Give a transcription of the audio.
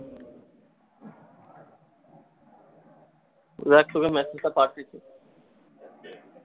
এবার শুধু message টা পাঠিয়েছে।